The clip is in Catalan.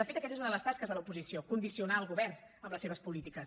de fet aquesta és una de les tasques de l’oposició condicionar el govern amb les seves polítiques